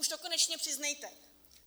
Už to konečně přiznejte!